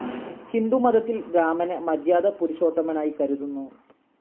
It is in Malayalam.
ഹിന്ദുമതത്തിൽ രാമനെ മര്യാദാ പുരുഷോത്തമനായി കരുതുന്നു.